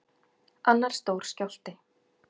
Annar stór skjálfti